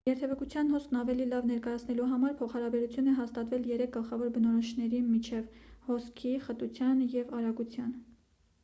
երթևեկության հոսքն ավելի լավ ներկայացնելու համար փոխհարաբերություն է հաստատվել երեք գլխավոր բնորոշիչների միջև` 1 հոսքի 2 խտության և 3 արագության: